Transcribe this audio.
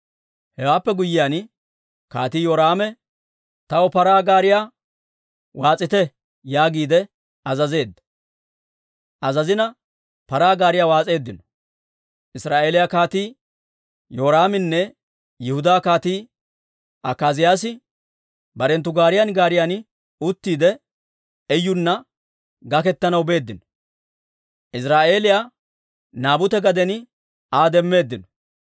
Hewaappe guyyiyaan, Kaatii Yoraame, «Taw paraa gaariyaa waas'ite» yaagiide azazeedda. Paraa gaariyaa waas'eeddino. Israa'eeliyaa Kaatii Yoraaminne Yihudaa Kaatii Akaaziyaasi barenttu gaariyan gaariyan uttiide, Iyuna gaketanaw beeddino. Iziraa'eeliyaa Naabute gaden Aa demmeeddino.